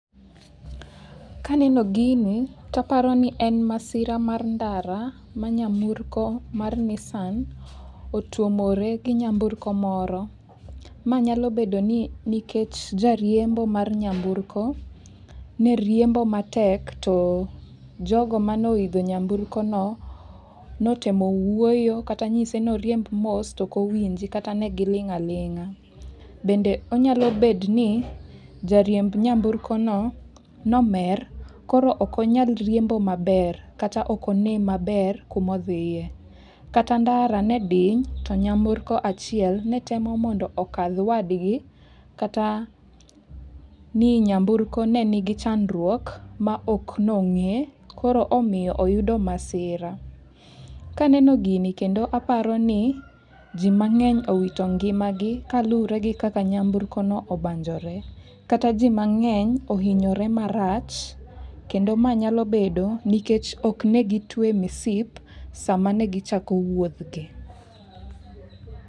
Kaneno gini taparo ni en masira mar ndara ma nyamburko mar Nissan otuomore gi nyamburko moro. Ma nyalo bedo ni nikech jariembo mar nyamburko ne riembo matek, to jogo manoidho nyamburko no, notemo wuoyo kata nyise noriemb mos to ok owinje kata ne giling' aling'a. Bende onyalo bedo ni, jariemb nyamburkono nomer koro okonyal riembo maber, kata ok onen maber kumodhiye. Kata ndara ne diny to nyamburko achiel ne temo mondo okadh wadgi, kata ni nyamburko ne nigi chandruok maok nong'e, koro nomiyo oyudo masira. Kaneno gini kendo, aparo ni ji mang'eny owito ngimagi kalure gi kaka nyamburkono obanjore. Kata ji mang'eny ohinyore marach, kendo mae nyalo bedo nikech ok negi twe misip sama ne gichako wuodhgi.